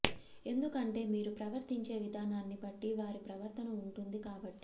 ఎందుకంటే మీరు ప్రవర్తించే విధానాన్ని బట్టి వారి ప్రవర్తన ఉంటుంది కాబట్టి